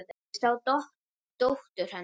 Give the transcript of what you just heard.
Ég sá dóttur. hennar.